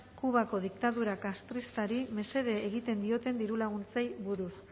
kubako diktadura castristari mesede egiten dioten dirulaguntzei buruz